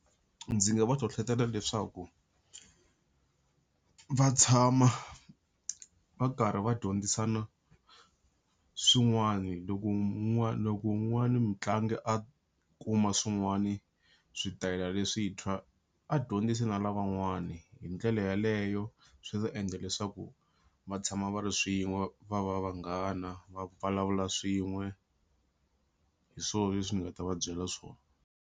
Ndzi nga va hlohlotela leswaku va tshama va karhi va dyondzisana swin'wana, loko loko wun'wani mutlangi a kuma swin'wani switayela leswintshwa a dyondzisi na lavan'wana hindlela yaleyo swi ta endla leswaku va tshama va ri swin'we, va va vanghana va vulavula swin'we hi swo leswi ni nga ta va byela swona.